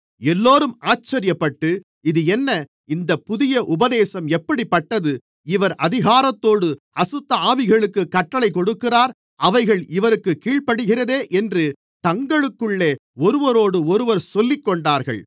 எல்லோரும் ஆச்சரியப்பட்டு இது என்ன இந்தப் புதிய உபதேசம் எப்படிப்பட்டது இவர் அதிகாரத்தோடு அசுத்தஆவிகளுக்குக் கட்டளைக் கொடுக்கிறார் அவைகள் இவருக்குக் கீழ்ப்படிகிறதே என்று தங்களுக்குள்ளே ஒருவரோடொருவர் சொல்லிக்கொண்டார்கள்